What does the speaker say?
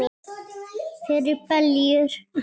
Fyrir beljur?